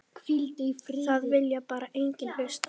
Það vilji bara enginn hlusta.